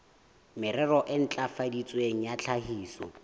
merero e ntlafaditsweng ya tlhahiso